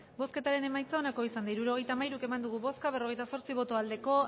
hirurogeita hamairu eman dugu bozka berrogeita zortzi bai